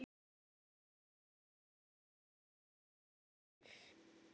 Hann sá á fótinn um hríð.